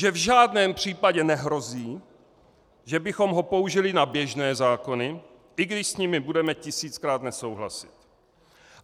Že v žádném případě nehrozí, že bychom ho použili na běžné zákony, i když s nimi budeme tisíckrát nesouhlasit.